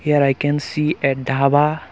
there i can see a dhaba.